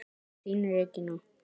Þín Regína.